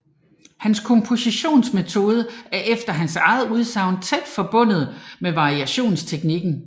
Hans kompositionsmetode er efter hans eget udsagn tæt forbundet med variationsteknikken